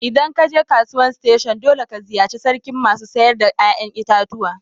ldan ka je kasuwan station dolle ka ziyace sarkin masu sayar da yayan itatuwa.